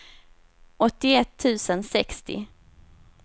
åttioett tusen sextio